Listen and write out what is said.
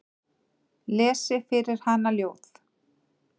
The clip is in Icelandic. Lesi fyrir hana ljóð.